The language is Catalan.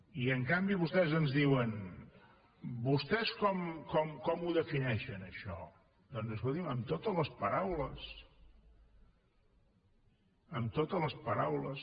i en canvi vostès ens diuen vostès com ho defineixen això doncs escolti’m amb totes les paraules amb totes les paraules